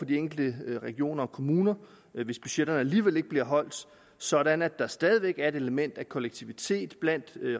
de enkelte regioner og kommuner hvis budgetterne alligevel ikke bliver holdt sådan at der stadig væk er et element af kollektivitet blandt